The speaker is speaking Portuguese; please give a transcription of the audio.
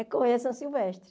É correr a São Silvestre.